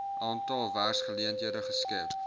aantal werksgeleenthede geskep